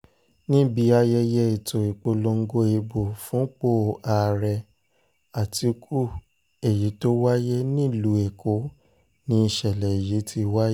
níbi ayẹyẹ ètò ìpolongo ìbò fúnpọ̀ ààrẹ àtikukù èyí tó wáyé nílùú èkó ni ìṣẹ̀lẹ̀ yìí ti wáyé